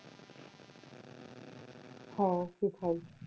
হ্যাঁ সেটাই।